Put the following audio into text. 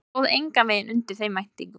Hann stóð engan veginn undir þeim væntingum.